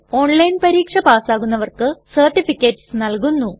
online പരീക്ഷ pass ആകുന്നവർക്ക് certificates നല്കുന്നു